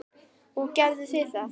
Og gerðu þið það?